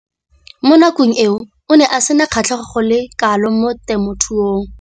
Mo nakong eo o ne a sena kgatlhego go le kalo mo temothuong.